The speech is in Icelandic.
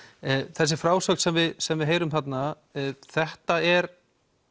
þessi frásögn sem við sem við heyrum þarna þetta er